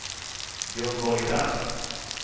Gunborg Rask